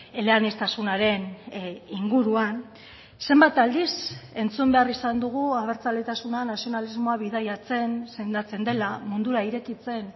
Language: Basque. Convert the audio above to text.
eleaniztasunaren inguruan zenbat aldiz entzun behar izan dugu abertzaletasuna nazionalismoa bidaiatzen sendatzen dela mundura irekitzen